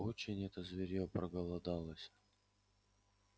уж очень это зверьё проголодалось